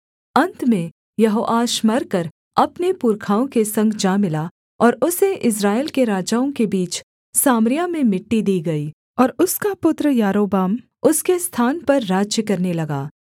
अन्त में यहोआश मरकर अपने पुरखाओं के संग जा मिला और उसे इस्राएल के राजाओं के बीच सामरिया में मिट्टी दी गई और उसका पुत्र यारोबाम उसके स्थान पर राज्य करने लगा